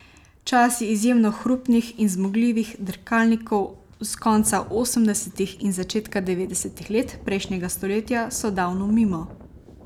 Časi izjemno hrupnih in zmogljivih dirkalnikov s konca osemdesetih in začetka devetdesetih let prejšnjega stoletja so davno mimo.